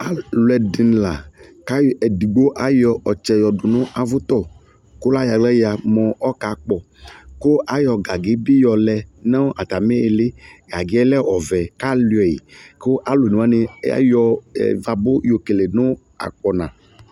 Alu ɛdini la ku edigbo ayɔ ɔtsɛ yɔdu nu avutɔ ku la yɔ aɣla ya mu ɔkakpɔ ku ayɔ gagi bi yɔlɛ nu atami iili gagi yɛ lɛ ɔvɛ ku aluiɛ ku alu one wani ayɔ vabu yɔkele nu akpɔna